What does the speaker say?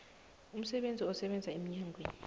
umsebenzi osebenza emnyangweni